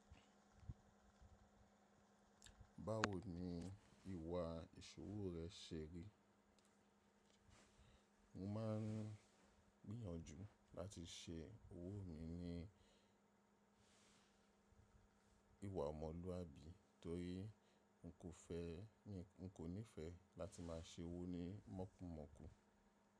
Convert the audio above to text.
Báwo ni ìwà ìṣòwò rẹ ṣe rí? Mo máa ń gbìyànjú láti ṣe òwò mi ní ìwà ọmọlúwàbí torí n kò nífẹ̀ẹ́ láti máa ṣe owó ní mọ́kunmọ́kùn.